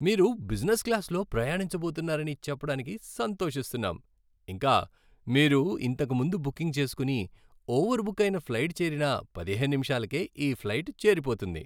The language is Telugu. మీరు బిజినెస్ క్లాస్లో ప్రయాణించబోతున్నారని చెప్పడానికి సంతోషిస్తున్నాం, ఇంకా, మీరు ఇంతకు ముందు బుకింగ్ చేసుకుని, ఓవర్బుక్ అయిన ఫ్లైట్ చేరిన పదిహేను నిమిషాలకే ఈ ఫ్లైట్ చేరిపోతుంది.